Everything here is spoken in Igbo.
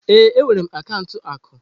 Ee, enwere m akaụntụ akụ.